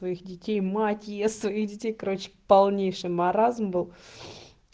своих детей мать ест своих детей короче полнейший маразм был